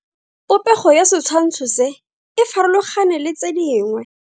Popego ya setshwantsho se, e farologane le tse dingwe.